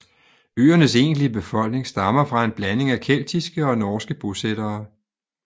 Øernes egentlige befolkning stammer fra en blanding af keltiske og norske bosættere